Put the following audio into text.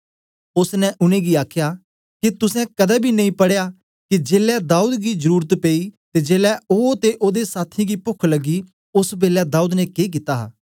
ओसने उनेंगी आखया के तुसें कदें बी नेई पढ़या के जेलै दाऊद गी जरुरत पेई ते जेलै ओ ते ओदे साथियें गी पोख लग्गी ओसबेलै दाऊद ने के कित्ता हा